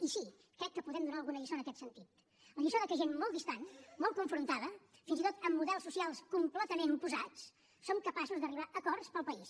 i sí crec que podem donar alguna lliçó en aquest sentit la lliçó que gent molt distant molt confrontada fins i tot amb models socials completament oposats som capaços d’arribar a acords per al país